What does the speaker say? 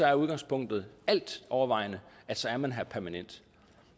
er udgangspunktet altovervejende at så er man her permanent